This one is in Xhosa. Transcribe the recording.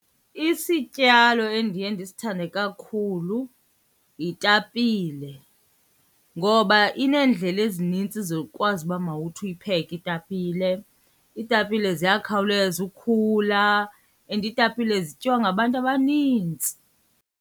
Isityalo endiye ndizithande kakhulu yitapile ngoba ineendlela ezinintsi zokwazi uba mawuthi uyipheke itapile. Iitapile ziyakhawuleza ukhula and iitapile zityiwa ngabantu abanintsi.